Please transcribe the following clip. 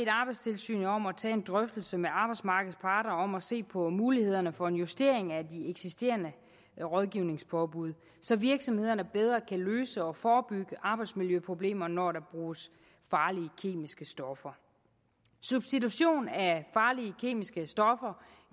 arbejdstilsynet om at tage en drøftelse med arbejdsmarkedets parter om at se på mulighederne for en justering af de eksisterende rådgivningspåbud så virksomhederne bedre kan løse og forebygge arbejdsmiljøproblemerne når der bruges farlige kemiske stoffer substitution af farlige kemiske stoffer